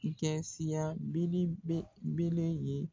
I kɛ siya ye